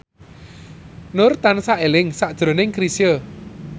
Nur tansah eling sakjroning Chrisye